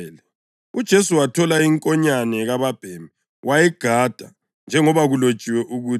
UJesu wathola inkonyane kababhemi wayigada njengoba kulotshiwe ukuthi: